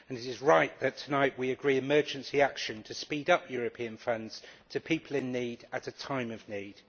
It is right that tonight we agree emergency action to speed up European funds to people in need, at a time of need.